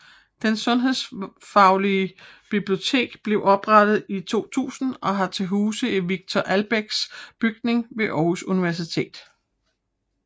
Det Sundhedsvidenskabelige Bibliotek blev oprettet i 2000 og har til huse i Victor Albeck Bygningen ved Aarhus Universitet